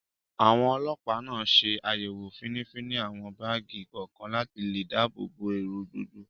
Àwọn Ọlọpa náà ṣe àyẹ̀wò finifini àwọn báàgì kọ̀ọ̀kan, láti lè dáàbò bo èrò gbogbo